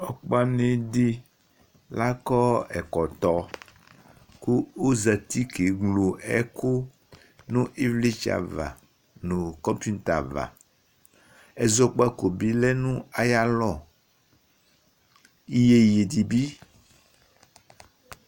Ɔgba ni di lakɔ ɛkɔtɔ ku ozɛti ké nlo ɛku nu ivlitsɛ va nu kɔpita va ɛzɔkpaku bi ya nu aya lɔ iyéyé di bi